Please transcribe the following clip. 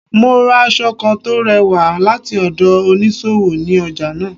Mo ra aṣọ kán tò rẹ̀wà lati ọdọ oniṣowo, ní ọja naa.